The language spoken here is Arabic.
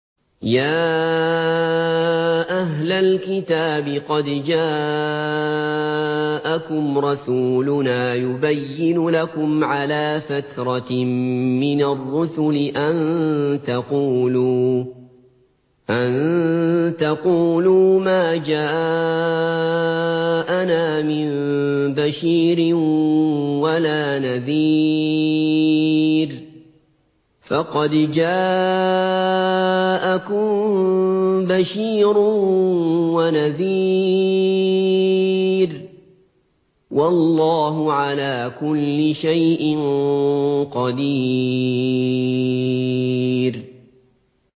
يَا أَهْلَ الْكِتَابِ قَدْ جَاءَكُمْ رَسُولُنَا يُبَيِّنُ لَكُمْ عَلَىٰ فَتْرَةٍ مِّنَ الرُّسُلِ أَن تَقُولُوا مَا جَاءَنَا مِن بَشِيرٍ وَلَا نَذِيرٍ ۖ فَقَدْ جَاءَكُم بَشِيرٌ وَنَذِيرٌ ۗ وَاللَّهُ عَلَىٰ كُلِّ شَيْءٍ قَدِيرٌ